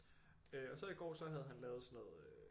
Og så i går så havde han lavet sådan noget øh